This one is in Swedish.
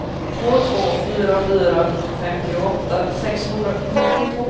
två två fyra fyra femtioåtta sexhundranittiotvå